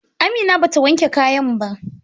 Amina bata wanke kayan ba.